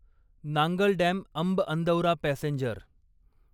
Nangal dam Amb Andaura passenger